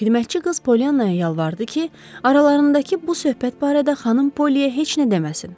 Xidmətçi qız Pollyannaya yalvardı ki, aralarındakı bu söhbət barədə xanım Pollyyə heç nə deməsin.